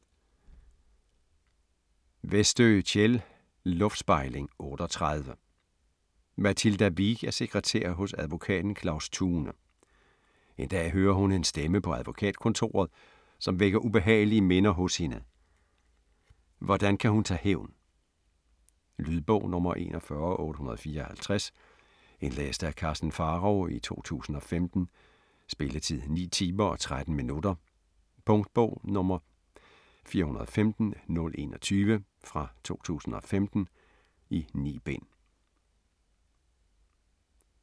Westö, Kjell: Luftspejling 38 Mathilda Wiik er sekretær hos advokaten Claus Thune. En dag hører hun en stemme på advokatkontoret, som vækker ubehagelige minder hos hende. Hvordan kan hun tage hævn? Lydbog 41854 Indlæst af Karsten Pharao, 2015. Spilletid: 9 timer, 13 minutter. Punktbog 415021 2015. 9 bind.